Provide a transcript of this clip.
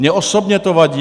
Mně osobně to vadí.